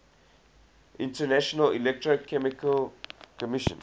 international electrotechnical commission